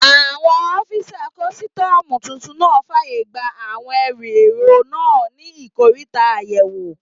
Àwọn ọ́fisà kọ́sítọ́mù tuntun náà fàyè gba àwọn ẹrù èrò náà ní ikoríta àyẹ̀wò